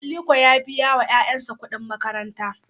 Aliko ya biya wa ;yanyasa kudin makaranta.